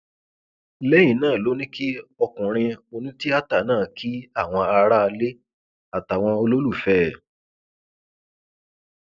lẹyìn náà ló ní kí ọkùnrin onítìátà náà kí àwọn aráalé àtàwọn olólùfẹ ẹ